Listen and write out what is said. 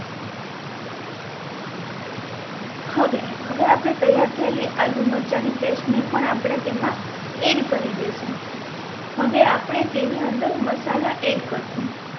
હવે હવે આપણે પેહલા થયેલી આદું મરચાની પેસ્ટ ને પણ આપણે તેમાં એડ કરી દેસું હવે આપણે તેની અંદર મસાલા એડ કરશુ